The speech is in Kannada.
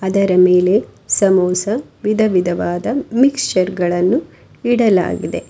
ಅದರ ಮೇಲೆ ಸಮೋಸ ವಿಧವಿಧವಾದ ಮಿಕ್ಚರ್ ಗಳನ್ನು ಇಡಲಾಗಿದೆ.